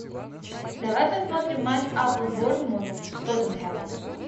давай посмотрим матч апл борнмут с тоттенхэмом